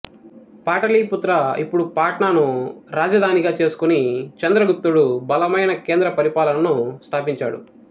పాటలీపుత్ర ఇప్పుడు పాట్నాను రాజధానిగా చేసుకుని చంద్రగుప్తుడు బలమైన కేంద్ర పరిపాలనను స్థాపించాడు